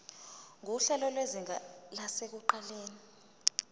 nguhlelo lwezinga lasekuqaleni